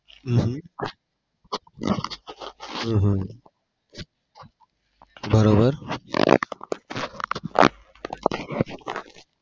હમ હમ હમ હમ બરોબર